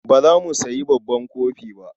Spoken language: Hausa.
Ba za mu sayi babban kofi ba.